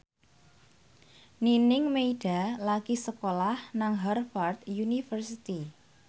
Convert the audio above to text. Nining Meida lagi sekolah nang Harvard university